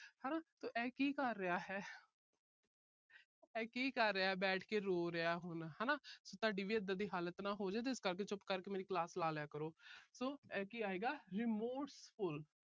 ਹਨਾ ਤੇ ਇਹ ਕੀ ਕਰ ਰਿਹਾ ਹੈ। ਇਹ ਕੀ ਕਰ ਰਿਹਾ ਬੈਠ ਕੇ ਰੋ ਰਿਹਾ ਹੁਣ ਹਨਾ। ਤੁਹਾਡੀ ਵੀ ਇਦਾਂ ਦੀ ਹਾਲਤ ਨਾ ਹੋਜੇ। ਇਸ ਕਰਕੇ ਚੁੱਪ ਕਰਕੇ ਮੇਰੀ class ਲਗਾ ਲਿਆ ਕਰੋ। so ਇਹ ਕੀ ਆਏਗਾ remorseful